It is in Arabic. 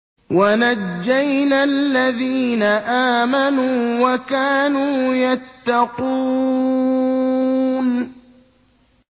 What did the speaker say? وَنَجَّيْنَا الَّذِينَ آمَنُوا وَكَانُوا يَتَّقُونَ